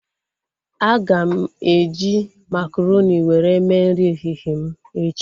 Aga m eji makaronị were mee nri ehihie m echi